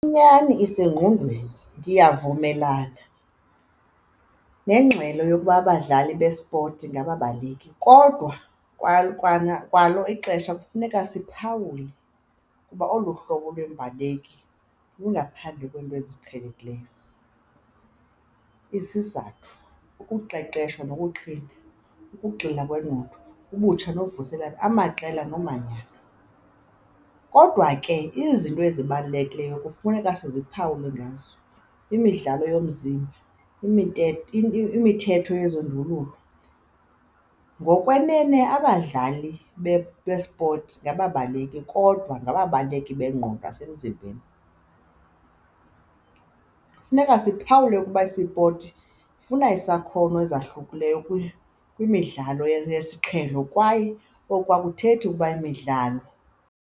Inyani isezingqondweni, ndiyavumelana nengxelo yokuba abadlali bespotsi ngabaleki. Kodwa kwalo ixesha kufuneka siphawula ukuba olu hlobo lwembaleki lungaphandle kweento eziqhelekileyo. Isizathu, ukuqeqeshwa nokuqhina, ukugxila kwengqondo ubutsha novuselela, amaqela nomanyano. Kodwa ke, izinto ezibalulekileyo kufuneka siziphawule ngazo, imidlalo yomzimba imithetho yezondululo. Ngokwenene abadlali bespotsi ngababaleki kodwa ngababaleki bengqondo nasemzimbeni. Funeka siphawule ukuba isipoti funa isakhono ezahlukileyo kwimidlalo yesiqhelo kwaye oku akuthethi ukuba imidlalo.